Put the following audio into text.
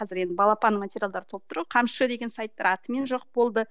қазір енді балапан материалдары толып тұр ғой қамшы деген сайттар атымен жоқ болды